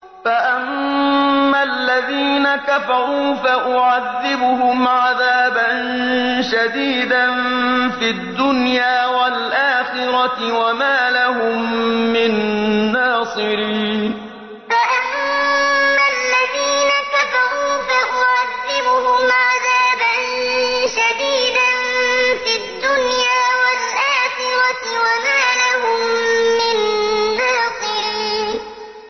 فَأَمَّا الَّذِينَ كَفَرُوا فَأُعَذِّبُهُمْ عَذَابًا شَدِيدًا فِي الدُّنْيَا وَالْآخِرَةِ وَمَا لَهُم مِّن نَّاصِرِينَ فَأَمَّا الَّذِينَ كَفَرُوا فَأُعَذِّبُهُمْ عَذَابًا شَدِيدًا فِي الدُّنْيَا وَالْآخِرَةِ وَمَا لَهُم مِّن نَّاصِرِينَ